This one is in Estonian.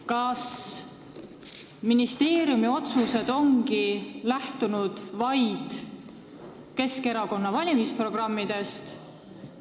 Kas ministeeriumi otsused ongi lähtunud vaid Keskerakonna valimisprogrammidest?